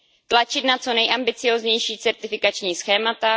Tlačit na co nejambicióznější certifikační schémata.